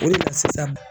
O de la sisan